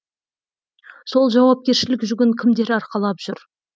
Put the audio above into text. сол жауапкершілік жүгін кімдер арқалап жүр